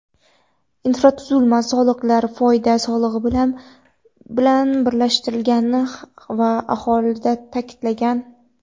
Infratuzilma soliqlari foyda solig‘i bilan birlashtirilgani ham alohida taʼkidlangan.